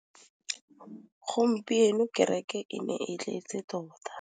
Gompieno kêrêkê e ne e tletse tota.